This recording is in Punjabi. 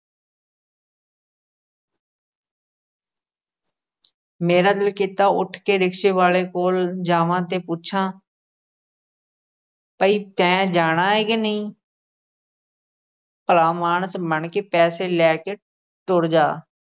ਮੇਰਾ ਦਿਲ ਕੀਤਾ ਉੱਠ ਕੇ rickshaw ਵਾਲੇ ਕੋਲ ਜਾਵਾਂ ਤੇ ਪੁੱਛਾਂ ਭਈ ਤੈਂ ਜਾਣਾ ਏ ਕੇ ਨਹੀਂ ਭਲਾ ਮਾਣਸ ਬਣ ਕੇ ਪੈਸੇ ਲੈ ਕੇ ਤੁਰ ਜਾ।